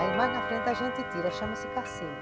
Aí mais na frente a gente tira, chama-se carceia.